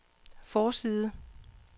forside